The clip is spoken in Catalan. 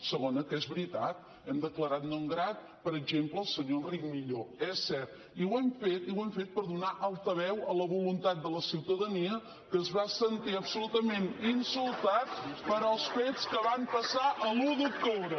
segona que és veritat hem declarat no grat per exemple el senyor enric millo és cert i ho hem fet per donar altaveu a la voluntat de la ciutadania que es va sentir absolutament insultada pels fets que van passar l’un d’octubre